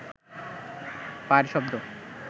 পায়ের শব্দ